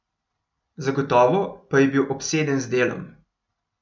Zagotovo pa je bil obseden z delom.